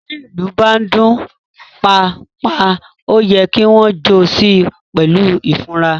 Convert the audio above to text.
Tí ilú bá ń dun “pa a, pa a” oyè kí wón jo sí pèlú ifura.